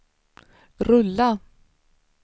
rulla